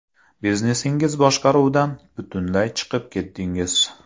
Biznesingiz boshqaruvidan butunlay chiqib ketdingiz.